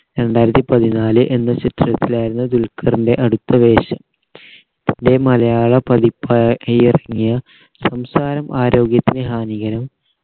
രണ്ടായിരത്തി പതിനാല് എന്ന ചിത്രത്തിലായിരുന്നു ദുൽഖർൻറെ അടുത്ത വേഷം തൻറെ മലയാള പതിപ്പാക്കി ഇറങ്ങിയ സംസാരം ആരോഗ്യത്തിന് ഹാനികരം